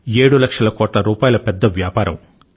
7 లక్షల కోట్ల రూపాయల పెద్ద వ్యాపారం